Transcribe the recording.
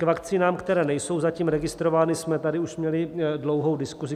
K vakcínám, které nejsou zatím registrovány, jsme tady už měli dlouhou diskuzi.